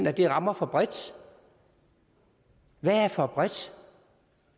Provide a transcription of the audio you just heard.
at det rammer for bredt hvad er for bredt